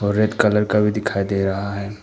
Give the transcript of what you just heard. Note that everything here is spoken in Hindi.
रेड कलर का भी दिखाई दे रहा है।